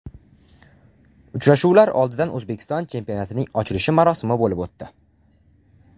Uchrashuvlar oldidan O‘zbekiston chempionatining ochilish marosimi bo‘lib o‘tdi.